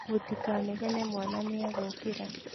Mũtikanegene mwana nĩagũkĩra